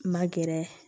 Ma gɛrɛ